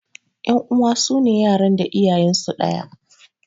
Ƴan uwa sune yaran da iyayensu ɗaya.